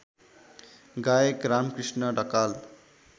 गायक रामकृष्ण ढकाल